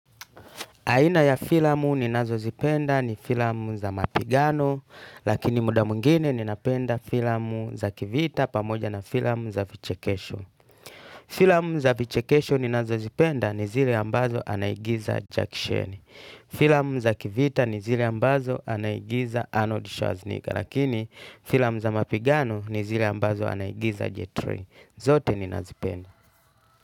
Aina ya filamu ninazozipenda ni filamu za mapigano lakini muda mwingine ninapenda filamu za kivita pamoja na filamu za vichekesho. Filamu za vichekesho ninazozipenda ni zile ambazo anaigiza Jack Shearney. Filamu za kivita ni zile ambazo anaigiza Arnold Schwarzenegger lakini filamu za mapigano ni zile ambazo anaigiza J3. Zote ninazipenda.